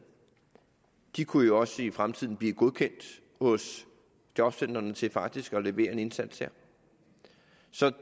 de kunne jo også i fremtiden blive godkendt hos jobcentrene til faktisk at levere en indsats der